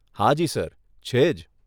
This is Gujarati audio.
હાજી સર, છે જ.